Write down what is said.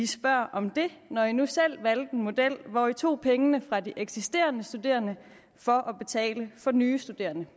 spørger om det når man nu selv valgte en model hvor man tog pengene fra de eksisterende studerende for at betale for nye studerende